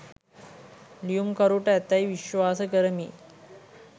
ලියුම්කරුට ඇතැයි විශ්වාස කරමි.